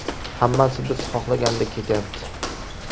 Hammasi biz xohlagandek ketyapti.